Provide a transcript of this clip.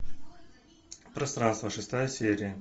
пространство шестая серия